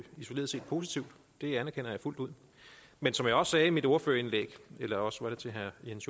isoleret set positivt det anerkender jeg fuldt ud men som jeg også sagde i mit ordførerindlæg eller også var det til herre jens